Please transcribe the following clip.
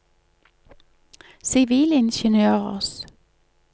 sivilingeniørers